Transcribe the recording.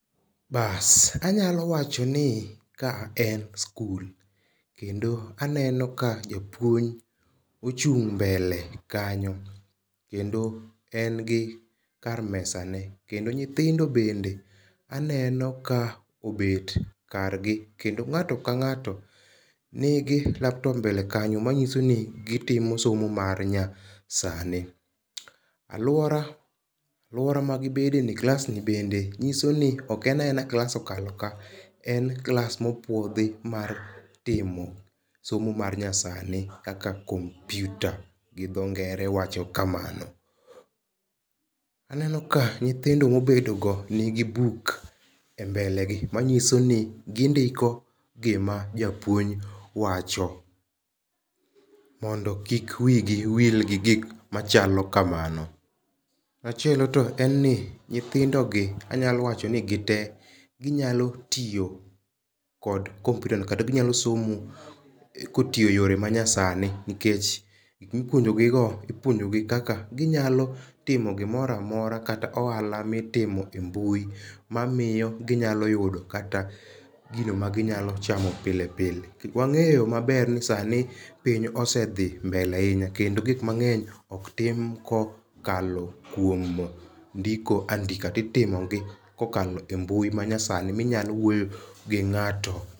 Anyalo wacho ni ka en skul. Kendo aneno ka japuonj ochung' mbele kanyo. Kendo en gi kar mesa ne. Kendo nyithindo bende aneno ka obet kar gi kendo ng'ato ka kang'ato ni gi laptop mbele kanyo manyiso ni gitimo somo mar nya sani. Aluora magibede ni, klas ni bende nyiso ni ok en a ena klas okalo ka. En klas mopuodhi mar timo somo mar nyasani kaka kompyuta gi dho ngere wacho kamano. Aneno ka nyithindo mobedo go nigi buk e mbeklegi manyiso ni gindiko gima japuonj wacho mondo kik wi gi wil gi gik machalo kamano. Machielo to en ni nyithindo gi anyalo wacho ni gite ginyalo tiyo kod kompyuta no kata ginyalo somo kotiyo yore ma nyasani, nikech gik mipuonjo gi go iouonjogi kaka ginyalo timo gimoro amora kata ohala mitimo embui mamiyo ginyalo yudop kata gino ma ginyalo chamo pile pile. Wang'eyo maber ni sani piny ose dhi mbele ahinya kendo gik mangeny ok tim kokalo kuom ndiko andika ti timo gi kokalo e mbui ma nyasani minyalo wuoyo gi ng'ato.